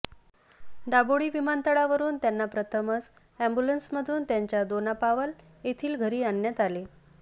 दाबोळी विमानतळा वरुन त्यांना प्रथमच अॅम्ब्युलेंसमधून मधून त्यांच्या दोनापावल येथील घरी आणण्यात आले